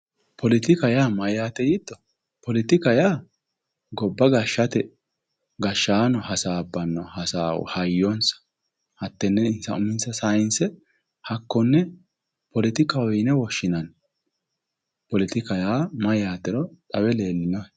Poletikka yaa mayate yiitto, poletikka yaa gobba gashate gashshaano hasaabbano hasaawa hayyonsa hatene insa uminsa sayinse hakkone poletikkaho yinne woshshinanni ,poletikka yaa mayatero xawe leellinohe?